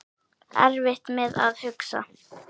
Erfitt með að hugsa.